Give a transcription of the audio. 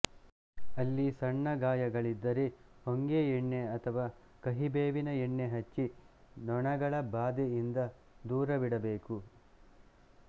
ಅಲ್ಲಿ ಸಣ್ಣ ಗಾಯಗಳಿದ್ದರೆ ಹೊಂಗೆ ಎಣ್ಣೆ ಅಥವಾ ಕಹಿ ಬೇವಿನ ಎಣ್ಣೆ ಹಚ್ಚಿ ನೊಣಗಳ ಬಾದೆಯಿಂದ ದೂರವಿಡಬೇಕು